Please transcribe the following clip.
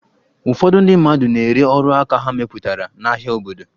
Ụfọdụ ndị mmadụ na-ere ọrụaka ha mepụtara n'ahịa obodo.